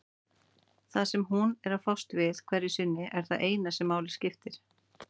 Það sem hún er að fást við hverju sinni er það eina sem máli skiptir.